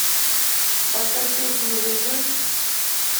поставь песню реквием